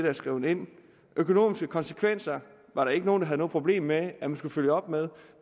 er skrevet ind økonomiske konsekvenser var der ikke nogen der havde noget problem med at man skulle følge op med